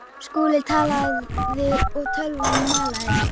Skúli talaði og tölvan malaði.